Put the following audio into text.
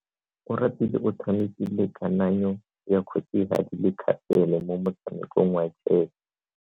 Oratile o tshamekile kananyo ya kgosigadi le khasele mo motshamekong wa chess.